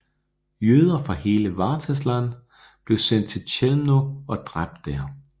Jøder fra hele Wartheland blev sendt til Chełmno og dræbt der